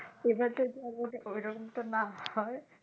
এবারটা আর যদি ঐরকমটা না হয়